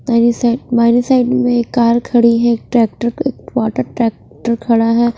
बाहरी साइड बाहरी साइड में एक कार खड़ी है एक ट्रैक्टर को ट्रैक्टर खड़ा है।